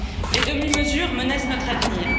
Les demi mesures menacent notre avenir.